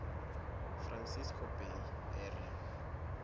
francisco bay area